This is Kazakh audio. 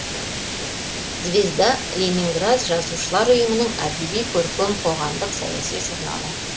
звезда ленинград жазушылар ұйымының әдеби көркем қоғамдық саяси журналы